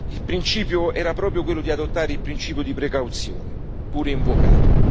Il principio era proprio quello di adottare il principio di precauzione, pure invocato.